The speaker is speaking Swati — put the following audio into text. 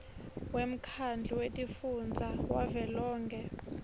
wemkhandlu wetifundza wavelonkhe